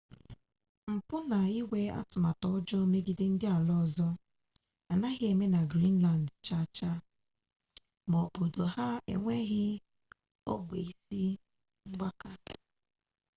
mpụ na ịnwe atụmatụ ọjọọ megide ndị ala ọzọ anaghị eme na greenland chaachaa ma n'obodo ha enweghị ogbe isi mgbaka